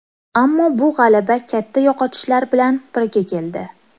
Ammo bu g‘alaba katta yo‘qotishlar bilan birga keldi.